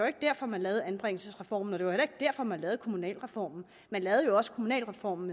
ikke derfor man lavede anbringelsesreformen og det var heller ikke derfor man lavede kommunalreformen man lavede jo også kommunalreformen